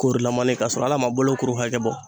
Korolamani ka sɔrɔ hal'a ma bolokuru hakɛ bɔ.